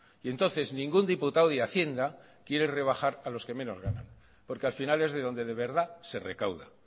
y entonces ningún diputado de hacienda quiere rebajar a los que menos ganan porque al final es de donde de verdad se recauda